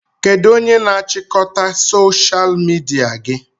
Kedụ onye na-achịkọta soshal midia gị?